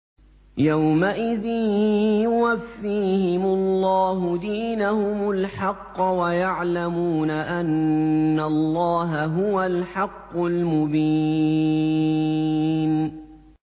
يَوْمَئِذٍ يُوَفِّيهِمُ اللَّهُ دِينَهُمُ الْحَقَّ وَيَعْلَمُونَ أَنَّ اللَّهَ هُوَ الْحَقُّ الْمُبِينُ